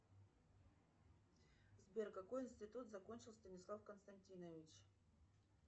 сбер какой институт закончил станислав константинович